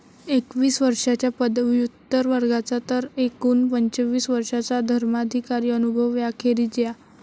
एकवीस वर्षाच्या पदव्युत्तर वर्गाचा तर एकूण पंचवीस वर्षाचा धर्माधिकारी अनुभव याखेरीज या.